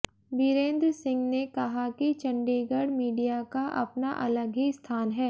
बीरेंद्र सिंह ने कहा कि चंडीगढ़ मीडिया का अपना अलग ही स्थान है